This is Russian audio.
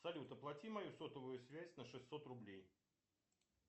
салют оплати мою сотовую связь на шестьсот рублей